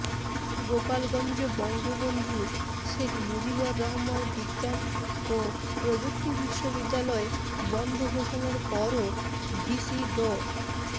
গোপালগঞ্জ বঙ্গবন্ধু শেখ মুজিবুর রহমান বিজ্ঞান ও প্রযুক্তি বিশ্ববিদ্যালয় বন্ধ ঘোষণার পরও ভিসি ড